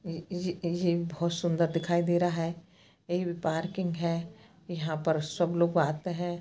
ये-ये-ये बहुत सुंदर दिखाई दे रहा है एमे पार्किंग है यहाँ पर सब लोग आते हैं।